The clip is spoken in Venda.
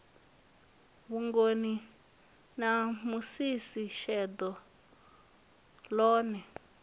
vhugoni na musisi sheḓo ḽone